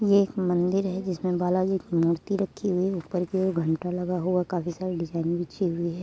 ये एक मंदिर है जिसमें बालाजी की मूर्ति रखी हुई है । ऊपर के ओर एक घंटा लगा हुआ है। काफी सारी डिज़ाइन भी की हुई है।